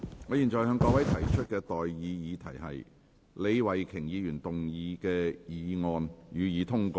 我現在向各位提出的待議議題是：李慧琼議員動議的議案，予以通過。